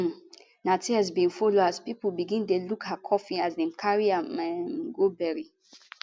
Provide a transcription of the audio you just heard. um na tears bin follow as pipo begin dey look her coffin as dem dey carry am um go bury